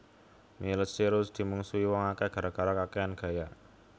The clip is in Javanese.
Miley Cyrus dimungsuhi wong akeh gara gara kakean gaya